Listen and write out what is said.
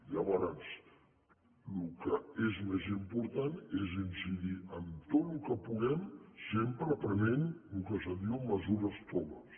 llavors el que és més im·portant és incidir en tot el que puguem sempre prenent el que se’n diuen mesures toves